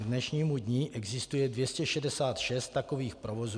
K dnešnímu dni existuje 266 takových provozů.